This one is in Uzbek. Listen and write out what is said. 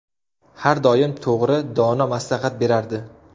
Har doim to‘g‘ri, dono maslahat berardi.